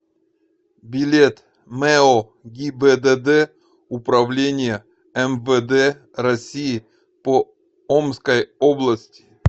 билет мэо гибдд управления мвд россии по омской области